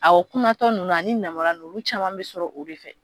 A kunatɔ ninnu a ni nanbara ninnu olu caman bɛ sɔrɔ o de fɛ